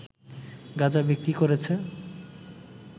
গাঁজা বিক্রি করেছে